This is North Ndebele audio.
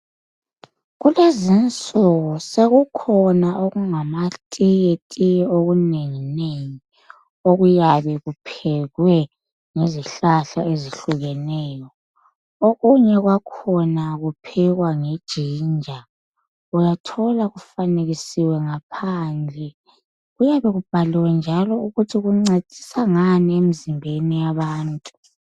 Kulezinsuku sekukhona okungamatiyetiye okunenginengi okuyabe kuphekwe ngezihlahla ezihlukeneyo. Okunye kwakhona kuphekwe nge jinja, uyathola kufanekisiwe ngaphandle kuyabe kubhaliwe njalo ukuthi kuncedisa ngani emzimbeni yabantu.